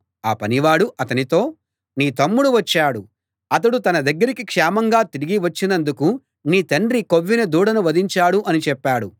ఆ పనివాడు అతనితో నీ తమ్ముడు వచ్చాడు అతడు తన దగ్గరికి క్షేమంగా తిరిగి వచ్చినందుకు నీ తండ్రి కొవ్విన దూడను వధించాడు అని చెప్పాడు